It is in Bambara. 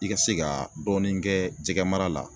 I ka se ka dɔɔnin kɛ jɛgɛmara la